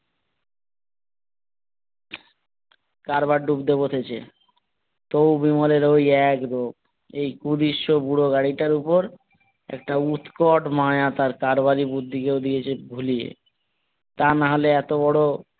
কারবার ডুবতে বসেছে তবু বিমলের ওই এক রোগ এই কুদৃশ্য বুড়ো গাড়ি টার ওপর একটা উদ্ভট মায়া তার কারবারি বুদ্ধিকেও দিয়েছে ভুলিয়ে তা না হলে এতো বড়,